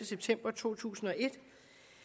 september to tusind og et